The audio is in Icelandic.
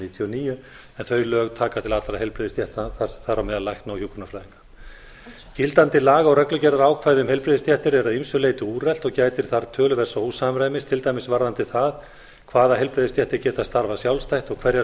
níutíu og níu en þau lög taka til allra heilbrigðisstétta þar á meðal lækna og hjúkrunarfræðinga gildandi laga og reglugerðarákvæði um heilbrigðisstéttir eru að ýmsu leyti úrelt og gætir þar töluverðs ósamræmis til dæmis varðandi það hvaða heilbrigðisstéttir geta starfað sjálfstætt og hverjar